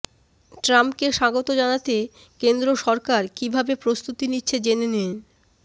ট্রাম্পকে স্বাগত জানাতে কেন্দ্র সরকার কীভাবে প্রস্তুতি নিচ্ছে জেনে নিন